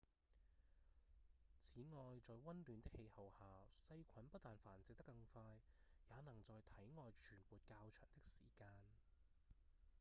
此外在溫暖的氣候下細菌不但繁殖得更快也能在體外存活較長的時間